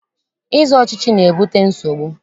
Ịzọ ọchịchị na-ebute nsogbu.